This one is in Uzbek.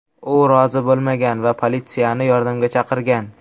U rozi bo‘lmagan va politsiyani yordamga chaqirgan.